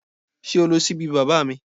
Sé o lo síbí baba mi?